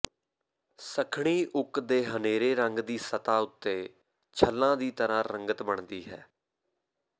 ਸੱਖਣੀ oak ਦੇ ਹਨੇਰੇ ਰੰਗ ਦੀ ਸਤ੍ਹਾ ਉੱਤੇ ਛਲਾਂ ਦੀ ਤਰ੍ਹਾਂ ਰੰਗਤ ਬਣਦੀ ਹੈ